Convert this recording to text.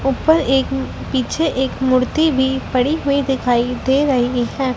ऊपर एक पीछे एक मूर्ति भी पड़ी हुई दिखाई दे रही हैं।